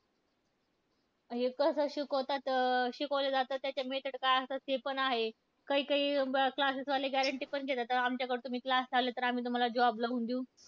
हे कसं शिकवतात अं शिकवलं जातं, त्याच्या method काय असतात ते पण आहे. काही काही classes वाले guarantee पण देतात. आमच्याकडे तुम्ही class लावला तर आम्ही तुम्हाला job लावून देऊ.